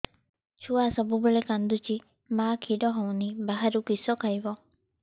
ଛୁଆ ସବୁବେଳେ କାନ୍ଦୁଚି ମା ଖିର ହଉନି ବାହାରୁ କିଷ ଖାଇବ